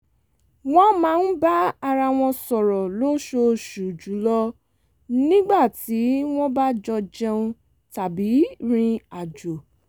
wọ́n máa ń bá ara wọn sọrọ́ lóṣooṣù jùlọ nígbà tí wọ́n bá jọ jẹun tàbí rìn àjò